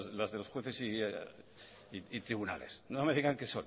las de los jueces y tribunales no me digan que